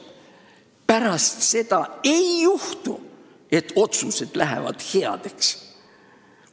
Aga pärast seda ei lähe otsused heaks.